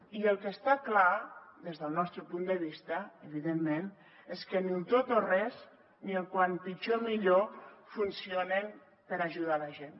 i el que està clar des del nostre punt de vista evidentment és que ni el tot o res ni el com pitjor millor funcionen per ajudar la gent